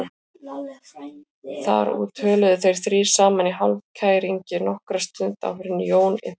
Þar úti töluðu þeir þrír saman í hálfkæringi nokkra stund áður en Jón innti